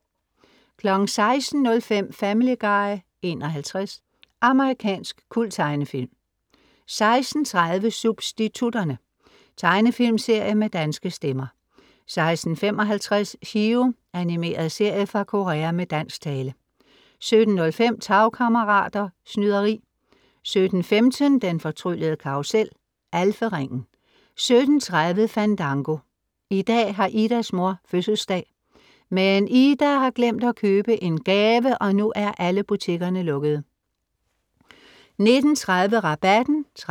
16:05 Family Guy (51) Amerikansk kulttegnefilm 16:30 Substitutterne. Tegnefilmsserie med danske stemmer 16:55 Chiro. Animeret serie fra Korea med dansk tale 17:05 Tagkammerater. Snyderi 17:15 Den fortryllede karrusel. Alferingen 17:30 Fandango. I dag har Idas mor fødselsdag! Men Ida har glemt at købe en gave og nu er alle butikkerne lukkede! 19:30 Rabatten (13:20)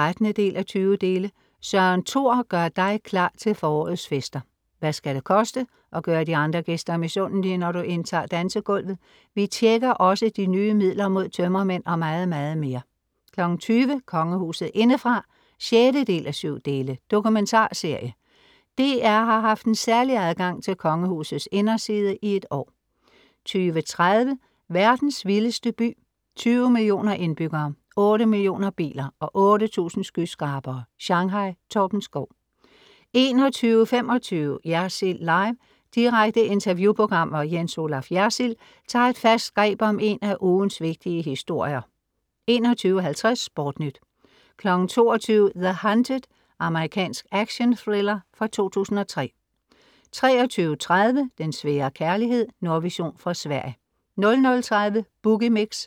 Søren Thor gør dig klar til forårets fester. Hvad skal det koste, at gøre de andre gæster misundelige, når du indtager dansegulvet? Vi tjekker også de nye midler mod tømmermænd og meget meget mere 20:00 Kongehuset indefra (6:7) Dokumentarserie. DR har haft en særlig adgang til Kongehusets inderside i et år: 20:30 Verdens vildeste by. 20 millioner indbyggere. 8 millioner biler. Og 8000 skyskrabere. Shanghai. Torben Schou 21:25 Jersild Live. Direkte interview-program, hvor Jens Olaf Jersild tager et fast greb om en af ugens vigtige historier 21:50 SportNyt 22:00 The Hunted. Amerikansk actionthriller fra 2003 23:30 Den svære kærlighed. Nordvision fra Sverige 00:30 Boogie Mix*